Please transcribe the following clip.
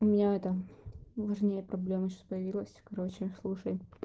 у меня это важнее проблема сейчас появилась короче слушай